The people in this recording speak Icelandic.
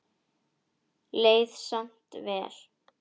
Leið samt vel.